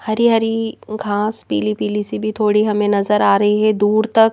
हरी हरी घास पीली पीली सी भी थोड़ी हमें नजर आ रही है दूर तक--